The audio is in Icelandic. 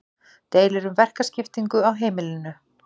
deilur um verkaskiptingu á heimilinu